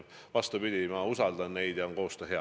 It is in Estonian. Vastupidi, ma usaldan neid ja koostöö on hea.